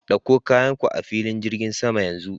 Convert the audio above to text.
Dauko kayanka a filin jirgin sama yanzu.